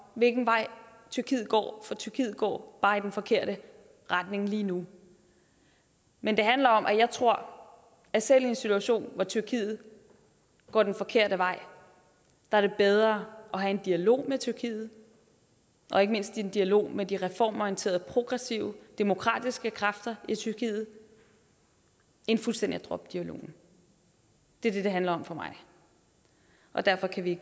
hvilken vej tyrkiet går for tyrkiet går bare i den forkerte retning lige nu men det handler om at jeg tror at selv i en situation hvor tyrkiet går den forkerte vej er det bedre at have en dialog med tyrkiet og ikke mindst en dialog med de reformorienterede progressive demokratiske kræfter i tyrkiet end fuldstændig at droppe dialogen det er det det handler om for mig og derfor kan vi